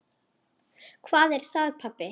Hvað er það, pabbi?